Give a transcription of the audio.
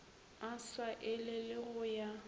a sa elele go ya